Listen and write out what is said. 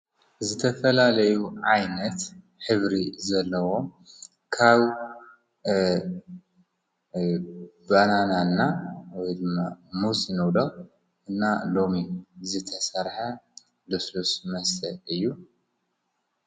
ዝተፈላለዩ ዓይነት ሕብሪ ዘለዎ ካብ ባናና እና ወይ ድማ ሙዝ ንብሎ እና ሎሚ ዝተሰርሐ ልስሉስ መሰተ እዩ።